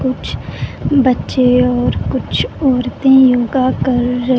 कुछ बच्चे और कुछ औरतें योगा कर र--